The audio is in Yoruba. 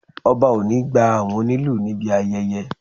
Ọba o ni gba àwọn onílù níbi ayẹyẹ